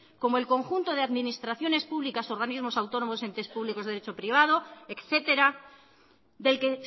como el conjunto de administraciones públicas organismos autónomos entes públicos derecho privado etcétera del que